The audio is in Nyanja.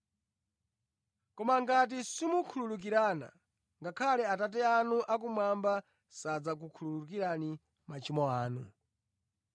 (Koma ngati simukhululukirana, ngakhale Atate anu akumwamba sadzakhululukira machimo anu).